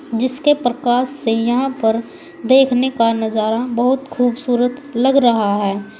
जिसके प्रकाश से यहां पर देखने का नजारा बहुत खूबसूरत लग रहा है।